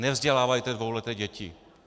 Nevzdělávejte dvouleté děti.